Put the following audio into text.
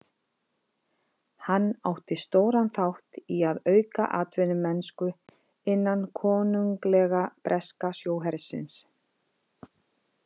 Hann átti stóran þátt í að auka atvinnumennsku innan Konunglega breska sjóhersins.